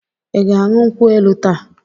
Ị ga-aṅụ nkwụ elu taa?